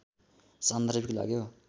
सान्दर्भिक लाग्यो